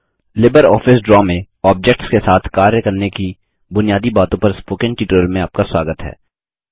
Libre office draw में objects के साथ कार्य करने की बुनियादी बातों पर स्पोकन ट्यूटोरियल में आपका स्वागत है